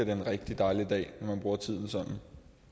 en rigtig dejlig dag når man bruger tiden sådan